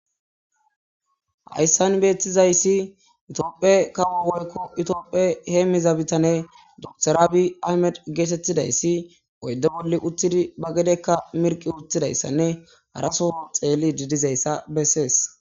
Haysan betizas Ethiopia kawo woyko Ethiopia hemiza bitane doctor abi aymede getetizays uyde boli utidi ba gedeKka mirqi utididaysanne haso Xelidi dizaysa besese